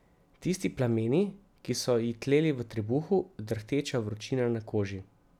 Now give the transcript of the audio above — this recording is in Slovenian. Tisti plameni, ki so ji tleli v trebuhu, drhteča vročina na koži.